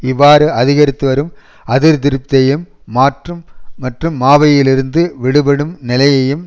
இவ்வாறு அதிகரித்துவரும் அதிருப்தியையும் மற்றும் மாயையிலிருந்து விடுபடும் நிலையையும்